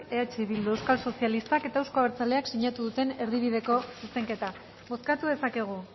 eh bildu euskal sozialistak eta euzko abertzaleak sinatu duten erdibideko zuzenketa bozkatu dezakegu